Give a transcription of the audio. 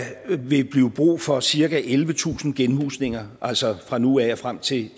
ville blive brug for cirka ellevetusind genhusninger altså fra nu af og frem til